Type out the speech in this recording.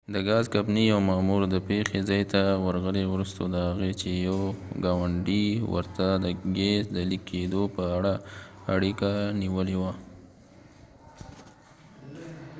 د ګاز کمپنی یو مامو ر د پیښی ځای ته ورغلی وروسته د هغې چې یو ګاونډی ورته د ګیس د لیک کېده په اړه اړیکه نیولی وه